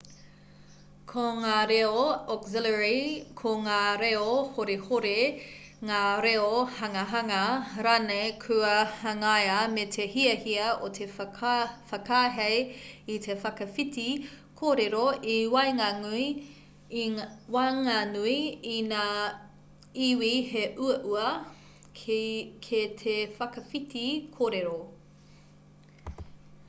ko ngā reo auxiliary ko ngā reo horihori ngā reo hangahanga rānei kua hangaia me te hiahia o te whakaahei i te whakawhiti kōrero i waenganui i ngā iwi he uaua kē te whakawhiti kōrero